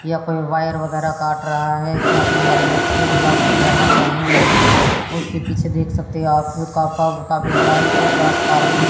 यहां पर वायर वगैरा काट रहा है इसने आपने हेलमेट से पेहने हुए है उसके पीछे देख सकते हैं आप का काफी बड़ा एक ट्रांसफार्मर --